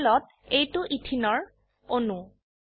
প্যানেলত এইটো Etheneৰ ইথিন অণু